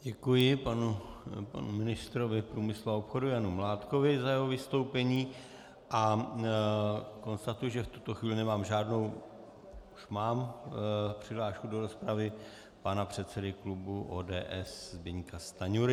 Děkuji panu ministrovi průmyslu a obchodu Janu Mládkovi za jeho vystoupení a konstatuji, že v tuto chvíli nemám žádnou... už mám přihlášku do rozpravy - pana předsedy klubu ODS Zbyňka Stanjury.